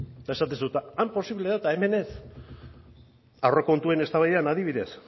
eta esaten duzu han posible da eta hemen ez aurrekontuen eztabaidan adibidez